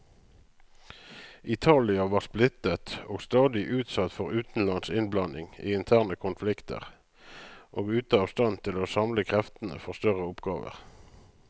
Italia var splittet og stadig utsatt for utenlands innblanding i interne konflikter, og ute av stand til å samle kreftene for større oppgaver.